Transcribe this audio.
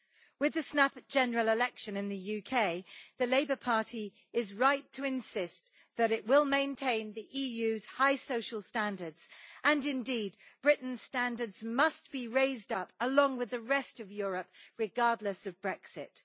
With the snap general election in the UK, the Labour Party is right to insist that it will maintain the EU's high social standards, and indeed Britain's standards must be raised up along with the rest of Europe, regardless of Brexit.